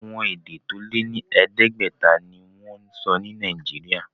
Àwọn èdè tó lé ní ẹ̀ẹ́dẹ́gbẹ̀ta ni wọ́n ń sọ ní Nàìjíríà.